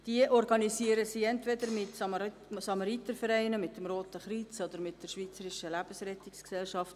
Diese organisieren sie entweder zusammen mit Samaritervereinen, dem Roten Kreuz oder mit der Schweizerischen Lebensrettungsgesellschaft.